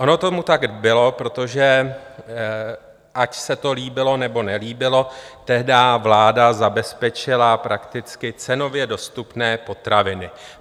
Ono tomu tak bylo, protože ať se to líbilo, nebo nelíbilo, tehdy vláda zabezpečila prakticky cenově dostupné potraviny.